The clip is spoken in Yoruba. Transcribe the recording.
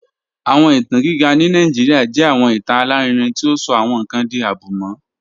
Awọn itan giga ni Nigeria jẹ awọn itan alarinrin ti o sọ awọn nkan di abumọ